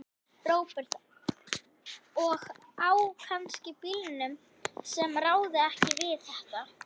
Róbert: Og á kannski bílum sem ráða ekki við þetta?